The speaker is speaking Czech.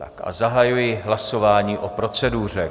Tak a zahajuji hlasování o proceduře.